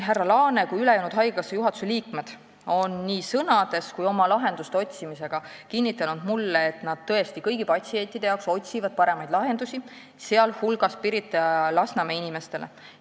" Härra Laane ja ülejäänud haigekassa juhatuse liikmed on nii sõnades kui oma lahenduste otsimisega mulle kinnitanud, et nad tõesti otsivad paremaid lahendusi kõigile patsientidele, sh Pirita ja Lasnamäe inimestele.